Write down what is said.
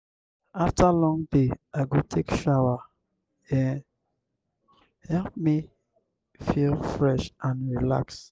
after long day i go take shower e help me feel fresh and relaxed.